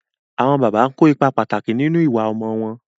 Àwọn bàbá ń kó ipá pàtàkì nínú ìwà ọmọ wọn.